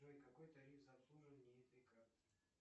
джой какой тариф за обслуживание этой карты